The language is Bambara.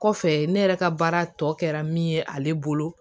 Kɔfɛ ne yɛrɛ ka baara tɔ kɛra min ye ale bolo